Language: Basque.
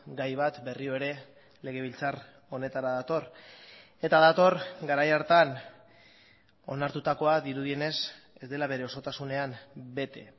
gai bat berriro ere legebiltzar honetara dator eta dator garai hartan onartutakoa dirudienez ez dela bere osotasunean bete